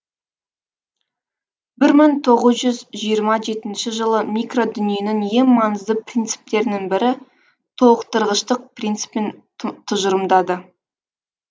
бір мың тоғыз жүз жиырма жетінші жылы микродүниенің ең маңызды принциптерінің бірі толықтырғыштық принципін тұжырымдады